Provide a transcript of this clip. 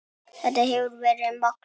Þetta hefur verið magnað.